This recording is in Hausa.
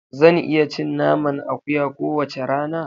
Zan iya cin naman akuya kowace rana.